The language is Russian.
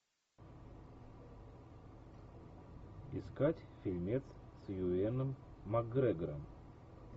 искать фильмец с юэном макгрегором